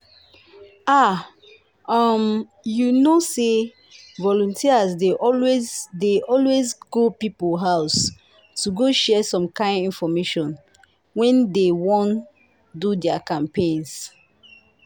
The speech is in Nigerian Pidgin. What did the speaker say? ah! um you know say volunteers dey always dey always go people house to go share some kind infomation when dey wan do dia campaigns.